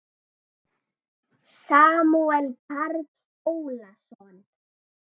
Samúel Karl Ólason.